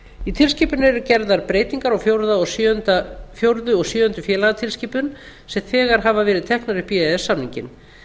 í tilskipuninni eru gerðar breytingar á fjórðu og sjöundu félagatilskipun sem þegar hafa verið teknar upp í e e s samninginn